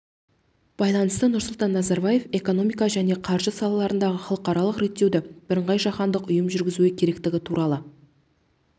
байланысты нұрсұлтан назарбаев экономика және қаржы салаларындағы халықаралық реттеуді бірыңғай жаһандық ұйым жүргізуі керектігі туралы